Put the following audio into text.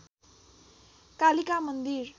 कालिका मन्दिर